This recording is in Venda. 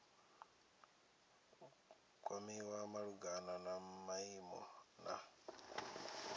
kwamiwa malugana na maimo na